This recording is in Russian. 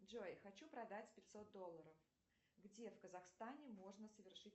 джой хочу продать пятьсот долларов где в казахстане можно совершить